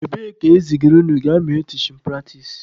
Ebee ka ezigara unu gaa mee tichin pratis?